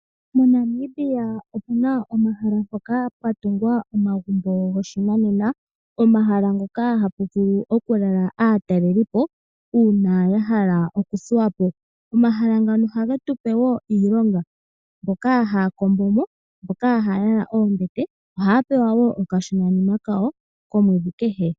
MoNamibia omuna omahala mpoka pwa tungwa omagumbo goshinanena, omahala mpoka hapu vulu oku lala aataleli po uuna ya hala okuthuwa po. Omahala ngano ohage tu pe wo iilonga mboka haya kombo mo mboka haya yala oombete ohaya pewa wo okashonanima kawo komwedhi kehe.